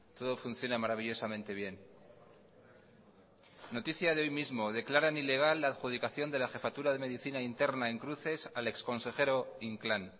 todo funciona maravillosamente bien noticia de hoy mismo declaran ilegal la adjudicación de la jefatura de medicina interna en cruces al exconsejero inclán